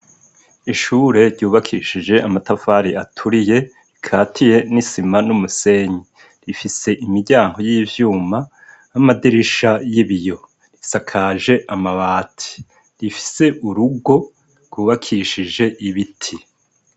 Ishure ryubakishije amatafari aturiye, rikatiye n'isima n'umusenyi, rifise imiryango y'ivyuma, n'amadirisha y'ibiyo, risakaje amabati, rifise urugo rwubakishije ibiti.